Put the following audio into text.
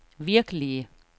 virkelige